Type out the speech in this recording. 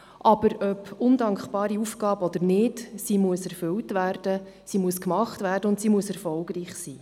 Aber, ob undankbare Aufgabe oder nicht, sie muss erfüllt werden, sie muss gemacht werden und sie muss erfolgreich sein.